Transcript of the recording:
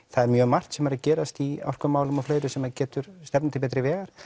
það er mjög margt sem er að gerast í orkumálum og fleiru sem getur stefnt til betri vegar